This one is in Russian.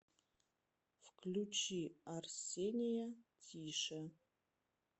включи арсения тише